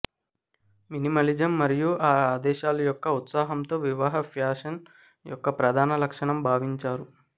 minimalism మరియు ఆ ఆదేశాలు యొక్క ఉత్సాహంతో వివాహ ఫ్యాషన్ యొక్క ప్రధాన లక్షణం భావించారు